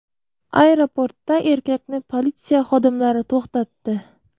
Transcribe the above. Aeroportda erkakni politsiya xodimlari to‘xtatdi.